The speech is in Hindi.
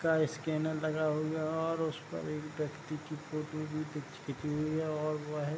का स्कैनर लगा हुआ है और उस पर एक व्यक्ति की फोटो भी खींची हुई है और वो है --